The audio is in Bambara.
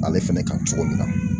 Ale fɛnɛ kan cogo min na